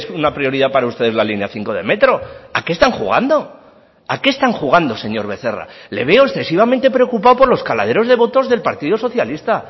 una prioridad para ustedes la línea cinco de metro a qué están jugando a qué están jugando señor becerra le veo excesivamente preocupado por los caladeros de votos del partido socialista